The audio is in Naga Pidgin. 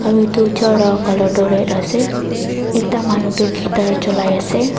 aro itu chair la color toh red ase ekta manu toh guitar cholai ase.